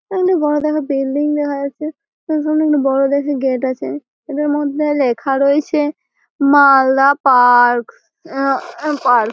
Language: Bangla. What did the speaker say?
এখানে বড় দেখে বিল্ডিং দেখা যাচ্ছে। তার সামনে একটি বড় দেখে গেট আছে। এটার মধ্যে লেখা রয়েছে মা-আ-লদা পার্ক-স উ আ পার্ক ।